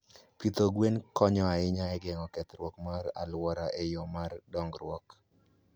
Pidho gwen konyo ahinya e geng'o kethruok mar alwora e yoo mar dongruok.